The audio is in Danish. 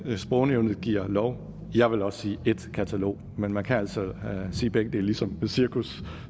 sprognævnet giver lov jeg ville også sige et katalog men man kan altså sige begge dele ligesom cirkus